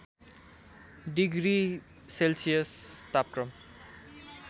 degree Celsius तापक्रम